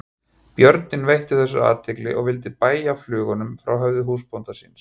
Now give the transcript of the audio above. Björninn veitti þessu athygli og vildi bægja flugunum frá höfði húsbónda síns.